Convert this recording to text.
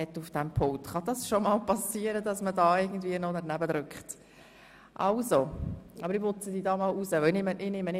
«Politik muss im Schulrat der BFH vertreten sein!